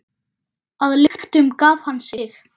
Að lyktum gaf hann sig.